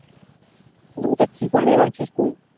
মানে তা কি করবো ভাবছিস তুই